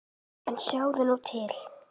En sjáðu nú til!